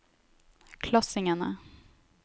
klassingene